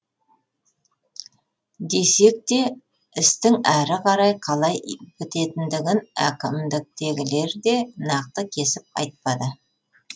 десек те істің әрі қарай қалай бітетіндігін әкімдіктегілер де нақты кесіп айтпады